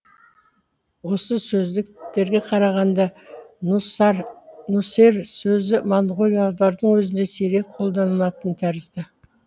осы сөздіктерге қарағанда нүсер сөзі моңғолдардың өзінде сирек қолданылатын тәрізді